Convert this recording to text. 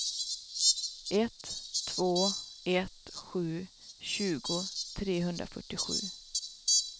ett två ett sju tjugo trehundrafyrtiosju